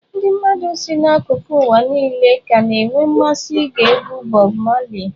Ndị mmadụ si n'akụkụ ụwa niile ka na-enwe mmasị ige egwu Bob Marley.